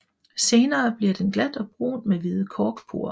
Senere bliver den glat og brun med hvide korkporer